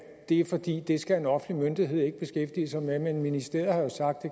det er fordi det skal en offentlig myndighed ikke beskæftige sig med men ministeriet har jo sagt at